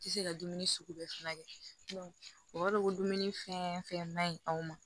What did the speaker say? Ti se ka dumuni sugu bɛɛ furakɛ o b'a dɔn ko dumuni fɛn fɛn ma ɲi anw ma